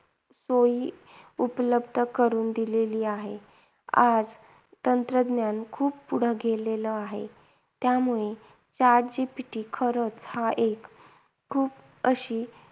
सोयी उपलब्ध करून दिलेली आहे. आज तंत्रज्ञान खूप पुढे गेलेलं आहे. त्यामुळे chat GPT खरंच हा एक खूप अशी